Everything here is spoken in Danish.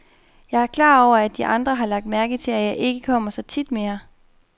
Jeg er klar over, at de andre har lagt mærke til, at jeg ikke kommer så tit mere.